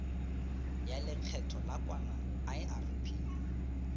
ya lekgetho la nakwana irp